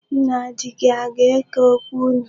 Nna di gị aga-eke okwu unu?